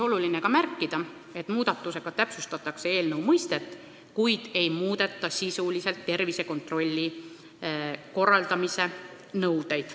Oluline on ka märkida, et muudatusega täpsustatakse eelnõu mõistet, kuid ei muudeta tervisekontrolli korraldamise sisulisi nõudeid.